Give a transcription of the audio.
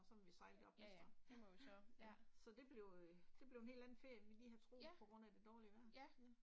Og så må vi sejle det op næste år, ja, ja. Så det blev øh, det blev en helt anden ferie end vi lige havde troet på grund af det dårlige vejr, ja